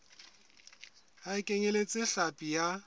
ha e kenyeletse hlapi ya